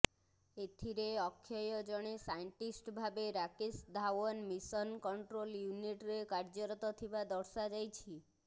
ଏଥିରେ ଅକ୍ଷୟ ଜଣେ ସାଇଣ୍ଟିଷ୍ଟ ଭାବେ ରାକେଶ ଧାୱନ ମିଶନ୍ କଣ୍ଟ୍ରୋଲ ୟୁନିଟରେ କାର୍ଯ୍ୟରତ ଥିବା ଦର୍ଶାଯାଇଛି